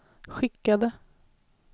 skickade